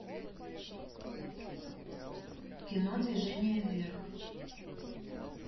кино движение вверх